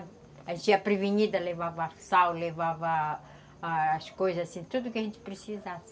A gente ia prevenida, levava sal, levava as coisas assim, tudo que a gente precisasse.